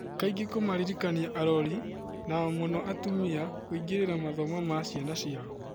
Kaingĩ kũmaririkania arori - na mũno atumia - kũingĩrĩra mathomo ma ciana ciao.